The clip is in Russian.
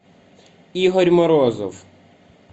игорь морозов